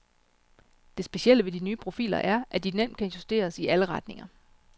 Det specielle ved de nye profiler er, at de nemt kan justeres i alle retninger.